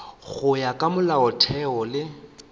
go ya ka molaotheo le